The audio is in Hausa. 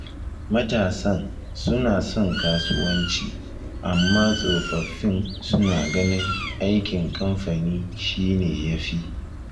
Matasan suna son kasuwanci, amma tsofaffin suna ganin aikin kamfani shi ne ya fi.